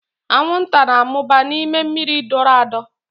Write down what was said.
Anwụnta na-amụba n'ime mmiri dọrọ adọ.